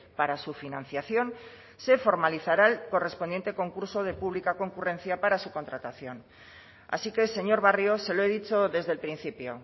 para su financiación se formalizará el correspondiente concurso de pública concurrencia para su contratación así que señor barrio se lo he dicho desde el principio